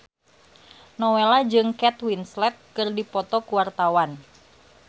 Nowela jeung Kate Winslet keur dipoto ku wartawan